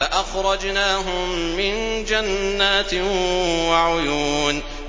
فَأَخْرَجْنَاهُم مِّن جَنَّاتٍ وَعُيُونٍ